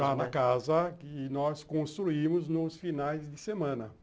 Já na casa que nós construímos nos finais de semana.